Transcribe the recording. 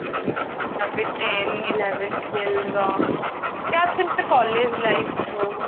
ୟା ଫିର ten eleven Twelve ର ୟା ଫିର ସେ college life ହଉ